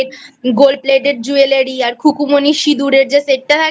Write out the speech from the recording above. Gold Plated Jewellery আর খুকুমণির সিঁদুরের যে Set টা থাকে